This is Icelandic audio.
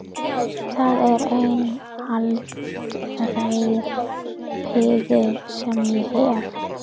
Það er eina haldreipið sem ég hef.